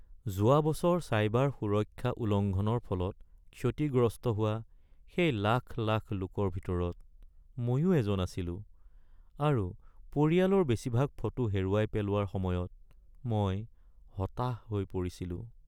যোৱা বছৰ চাইবাৰ সুৰক্ষা উলংঘনৰ ফলত ক্ষতিগ্ৰস্ত হোৱা সেই লাখ লাখ লোকৰ ভিতৰত মইও এজন আছিলোঁ আৰু পৰিয়ালৰ বেছিভাগ ফটো হেৰুৱাই পেলোৱাৰ সময়ত মই হতাশ হৈ পৰিছিলোঁ।